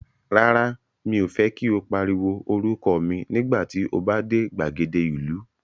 Rárá, mi ò fẹ́ kí o pariwo orúkọ mi nígbà tí o bá dé gbàgede ìlú.